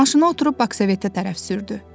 Maşına oturub Bakı Sovetdə tərəf sürdü.